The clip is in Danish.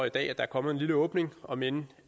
i dag er kommet en lille åbning omend